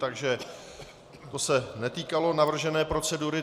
Takže to se netýkalo navržené procedury.